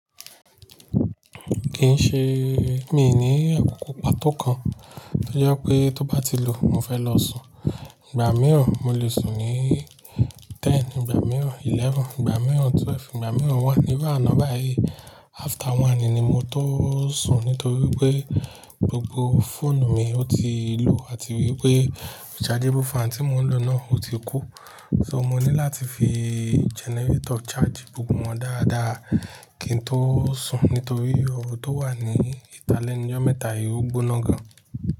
Kì í ṣe mi ní àkókò pató kan, tí ó jẹ́ pé tó bá ti lù ú, mo fẹ́ lọ sùn. Ìgbà mìíràn mo lè sùn ní ten, ìgbà mìíràn eleven, ìgbà mìíràn twelve, ìgbà mìíràn one. Ní báà náà báyìí, after one ni mo tó sùn nítorí pé gbogbo fóònù mi ó ti lù àti wípé rechargeable fan tí mo ń lò náà ó ti kú. So mo ní láti fi generator charge gbogbo wọn dáadáa kí n tó sùn nítorí ọrọ̀ tó wà ní Ita le ńu jọ́ mẹ́ta yìí ó gbóná gan.